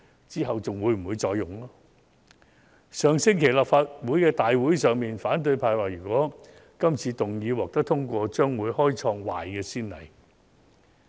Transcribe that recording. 在上星期的立法會大會上，反對派表示如果議案獲得通過，將會開創壞先例。